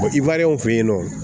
i wari fe yen nɔ